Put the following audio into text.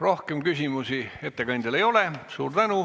Rohkem küsimusi ettekandjale ei ole.